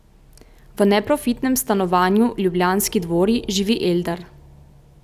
V neprofitnem stanovanju Ljubljanski dvori živi Eldar.